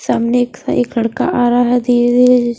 सामने एक सा एक लड़का आ रहा है धीरे-धीरे जिस --